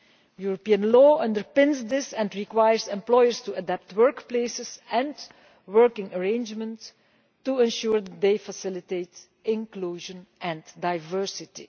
European law underpins this and requires employers to adapt workplaces and working arrangements to ensure they facilitate inclusion and diversity.